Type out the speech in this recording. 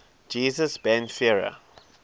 jesus ben sira